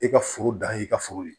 E ka foro dan y'i ka foro ye